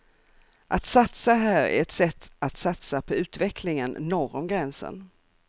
Att satsa här är ett sätt att satsa på utvecklingen norr om gränsen.